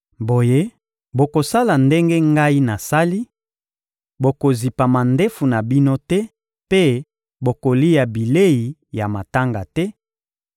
Boye, bokosala ndenge Ngai nasali: bokozipa mandefu na bino te mpe bokolia bilei ya matanga te;